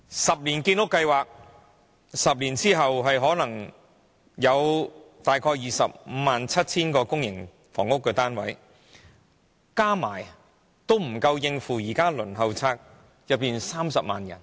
十年建屋計劃 ，10 年後可能約有 257,000 個公營房屋單位落成，但都不足以應付現時輪候冊上的30萬人。